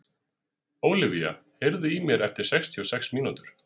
Ólivía, heyrðu í mér eftir sextíu og sex mínútur.